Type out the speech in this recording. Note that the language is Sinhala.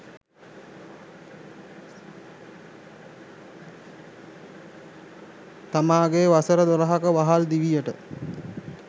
තමන්ගේ වසර දොළහක වහල් දිවියට